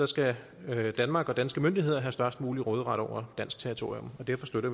skal danmark og danske myndigheder have størst mulig råderet over dansk territorium og derfor støtter